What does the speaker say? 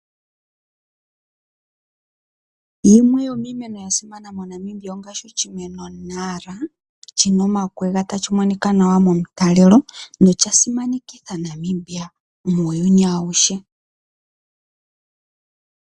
Yimwe yomiimeno yasimana moNamibia ongaashi oshimeno !Nara shina omakwega tashi monika nawa momutalelo nosha simanekitha Namibia muyuni awuhe.